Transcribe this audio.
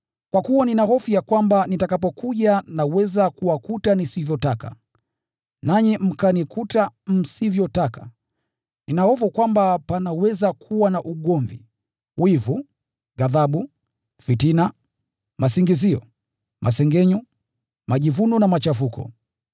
Kwa kuwa nina hofu ya kwamba nitakapokuja naweza kuwakuta nisivyotaka, nanyi mkanikuta msivyotaka. Nina hofu kwamba panaweza kuwa na ugomvi, wivu, ghadhabu, fitina, masingizio, masengenyo, majivuno na machafuko.